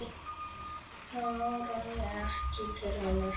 Það áraði ekki til annars.